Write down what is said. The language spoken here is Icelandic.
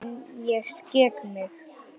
En ég skek mig.